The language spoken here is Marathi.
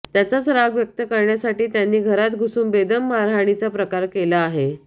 त्याचाच राग व्यक्त करण्यासाठी त्यांनी घरात घुसून बेदम मारहाणीचा प्रकार केला आहे